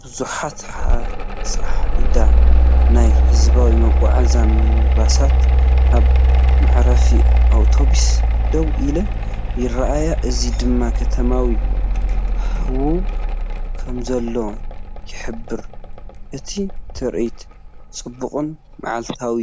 ብዙሓት ፃዓዱ ናይ ህዝባዊ መጓዓዝያ ሚኒባሳት ኣብ መዕረፊ ኣውቶቡስ ደው ኢለን ይረኣያ። እዚ ድማ ከተማዊ ሃዋህው ከምዘሎ ይሕብር። እቲ ትርኢት ጽዑቕን መዓልታዊ